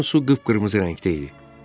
Doğrudan su qıpqırmızı rəngdə idi.